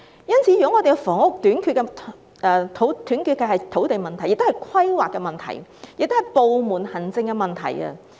因此，房屋短缺是土地問題，亦涉及規劃及部門行政問題。